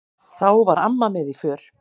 Þá var amma með í för.